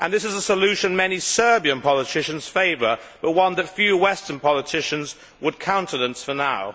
This is a solution many Serbian politicians favour but one that few Western politicians would countenance for now.